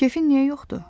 Kefin niyə yoxdur?